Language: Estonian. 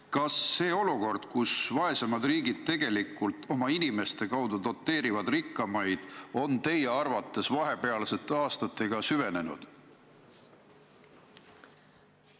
" Kas see olukord, kus vaesemad riigid tegelikult oma inimeste kaudu doteerivad rikkamaid, on teie arvates vahepealsete aastatega süvenenud?